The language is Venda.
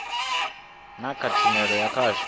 na kha tshumelo ya khasho